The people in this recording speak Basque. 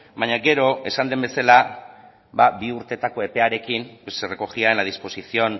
baina gero esan den bezala bi urtetako epearekin se recogía en la disposición